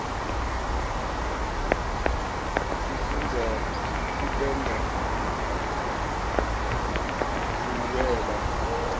sifundza kupenda nkubuweba